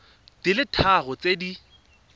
di le tharo tse di